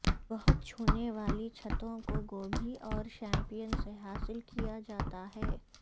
بہت چھونے والی چھتوں کو گوبھی اور شیمپین سے حاصل کیا جاتا ہے